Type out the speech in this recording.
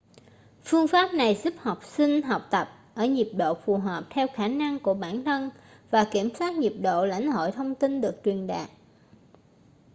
phương pháp này giúp học sinh học tập ở nhịp độ phù hợp theo khả năng của bản thân và kiểm soát nhịp độ lãnh hội thông tin được truyền đạt